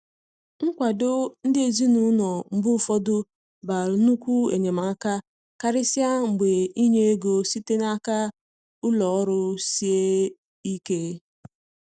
Nkwado ndi ezinaụlọ mgbe ụfọdụ ba nnukwu enyemaka, karịsịa mgbe inye ego site n'aka ụlọ ọrụ sie ike.